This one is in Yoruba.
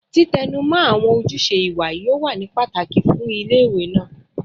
Titẹnumọ awọn ojuse iwa yoo wa ni pataki fun ile-iwe naa